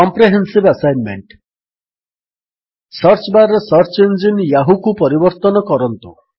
comprehensive assignment search bar ରେ search engine ୟାହୂକୁ ପରିବର୍ତ୍ତନ କରନ୍ତୁ